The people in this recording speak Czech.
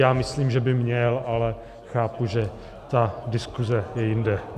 Já myslím, že by měl, ale chápu, že ta diskuze je jinde.